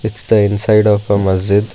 Its the inside of a masjid.